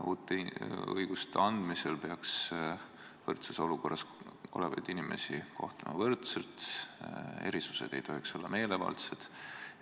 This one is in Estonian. Uute õiguste andmisel peaks võrdses olukorras olevaid inimesi kohtlema võrdselt, erisused ei tohiks olla meelevaldsed.